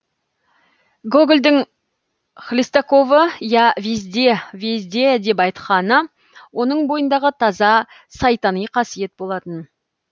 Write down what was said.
гогольдың хлестаковы я везде везде деп айтқаны оның бойындағы таза сайтани қасиет болатын